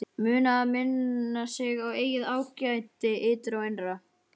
Muna að minna sig á eigið ágæti, ytra og innra.